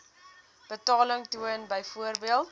betaling toon byvoorbeeld